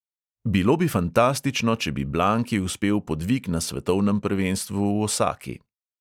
Bilo bi fantastično, če bi blanki uspel podvig na svetovnem prvenstvu v osaki.